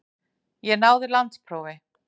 Ég náði landsprófi.